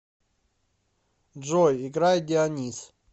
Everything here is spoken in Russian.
джой играй дионис